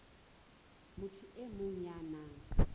motho e mong ya nang